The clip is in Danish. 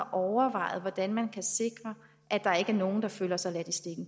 overvejet hvordan man kan sikre at der ikke er nogen der føler sig ladt